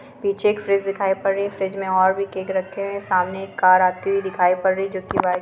पीछे एक फ्रिज दिखाई पड़ रही है फ्रिज मे और भी केक रखे है सामने एक कार आती हुई दिखाई पड़ रही है जो की व्हाइट --